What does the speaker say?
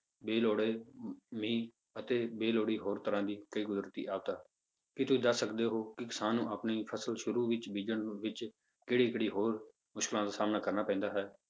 ਬੇਲੋੜੇ ਅਮ ਮੀਂਹ ਅਤੇ ਬੇਲੋੜੀ ਹੋਰ ਤਰ੍ਹਾਂ ਦੀ ਕਈ ਕੁਦਰਤੀ ਆਫ਼ਤਾਂ, ਕੀ ਤੁਸੀਂ ਦੱਸ ਸਕਦੇ ਹੋ ਕਿ ਕਿਸਾਨ ਨੂੰ ਆਪਣੀ ਫਸਲ ਸ਼ੁਰੂ ਵਿੱਚ ਬੀਜਣ ਵਿੱਚ ਕਿਹੜੀ ਕਿਹੜੀ ਹੋਰ ਮੁਸ਼ਕਲਾਂ ਦਾ ਸਾਹਮਣਾ ਕਰਨਾ ਪੈਂਦਾ ਹੈ?